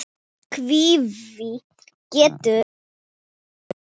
Kíví getur átti við